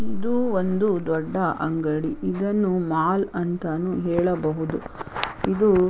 ಇದು ಒಂದು ದೊಡ್ಡ ಅಂಗಡಿ ಇದನ್ನು ಮಾಲ್ ಅಂತಾನೂ ಹೇಳಬಹುದು ಇದು.